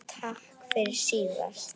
Takk fyrir síðast?